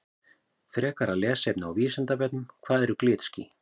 Frekara lesefni á Vísindavefnum Hvað eru glitský?